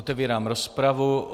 Otevírám rozpravu.